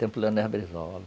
Tempo Leonel Brizola